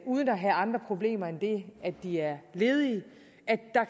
uden at have andre problemer end det at de er ledige